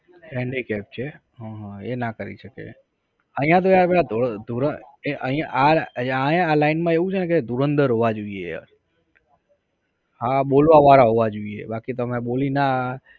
Handicap છે. હં હં એ ના કરી શકે. અહિયાં તો આપડા ધોર ધોરએ અહિયાં આ આ line માં એવું છે ને કે ધુરંદર હોવા જોઈએ. હા બોલવા વારા હોવા જોઈએ. બાકી તમે બોલી ના